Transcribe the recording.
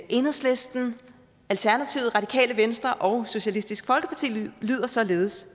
enhedslisten alternativet radikale venstre og socialistisk folkeparti lyder således